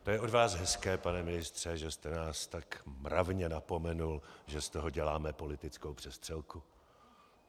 To je od vás hezké, pane ministře, že jste nás tak mravně napomenul, že z toho děláme politickou přestřelku.